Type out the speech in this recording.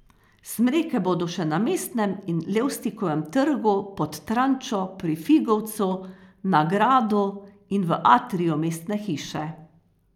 Smreke bodo še na Mestnem in Levstikovem trgu, Pod Trančo, pri Figovcu, na gradu in v atriju Mestne hiše.